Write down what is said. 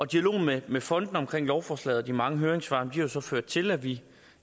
dialog med med fondene om lovforslaget og de mange høringssvar har så ført til at vi